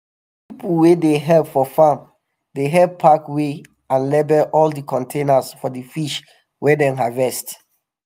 na di pipo wey dey help for farm dey help pack weigh and label all di containers for di fish wey dem harvest.